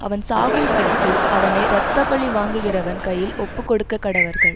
அவன் சாகும்படிக்கு அவனை இரத்த பழி வாங்குகிறவன் கையில் ஒப்புக்கொடுக்கக்கடவர்கள்